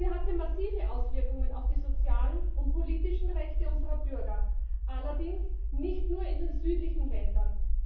Sie hatte massive Auswirkungen auf die sozialen und politischen Rechte unserer Bürger, allerdings nicht nur in den südlichen Ländern.